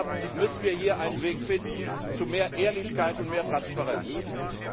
Deshalb müssen wir hier einen Weg zu mehr Ehrlichkeit und mehr Transparenz finden.